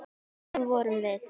Þannig vorum við.